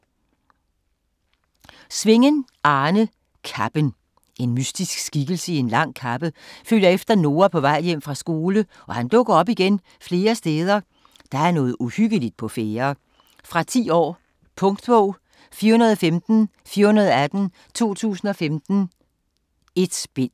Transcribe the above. Svingen, Arne: Kappen En mystisk skikkelse i lang kappe følger efter Noah på vej hjem fra skole og han dukker op igen flere steder. Der er noget uhyggeligt på færde. Fra 10 år. Punktbog 415418 2015. 1 bind.